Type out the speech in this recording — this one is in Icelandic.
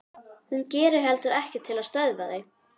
Hún gerir heldur ekkert til að stöðva þau.